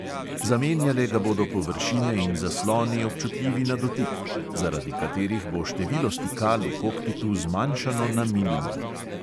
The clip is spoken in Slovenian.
Zamenjale ga bodo površine in zasloni, občutljivi na dotik, zaradi katerih bo število stikal v kokpitu zmanjšano na minimum.